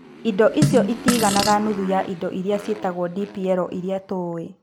Indo icio itiiganaga nuthu ya indo iria ciĩtagwo DPL iria tũĩ.